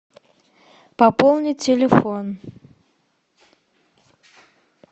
пополни телефон